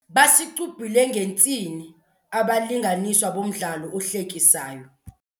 Basicubhule ngentsini abalinganiswa bomdlalo ohlekisayo.